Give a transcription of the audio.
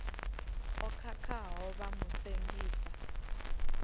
o khakhaho vha mu sengisa